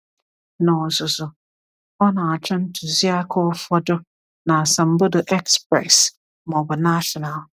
N’ozuzu, ọ na-achọ ntuziaka ụfọdụ na asambodo Express ma ọ bụ National.